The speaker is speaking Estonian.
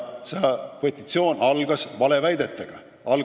Petitsioon algas valeväidetega.